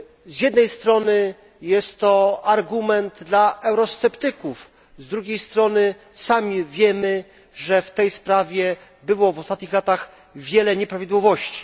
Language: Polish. Z jednej strony jest to argument dla eurosceptyków, z drugiej strony sami wiemy, że w tej sprawie było w ostatnich latach wiele nieprawidłowości.